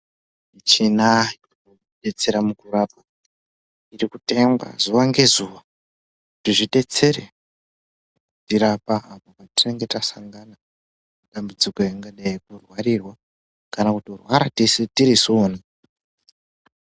Muchina ino detsera muku rapa iri kutengwa zuva nge zuva kuti zvidetsere kuti rapa apo pa tinenge ta sangana ne dambudziko ingadai yeku rwarirwa kana kuto rwara tese tirisu wona.